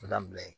O labila in